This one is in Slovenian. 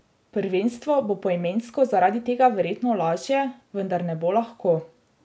Prvenstvo bo poimensko zaradi tega verjetno lažje, vendar ne bo lahko.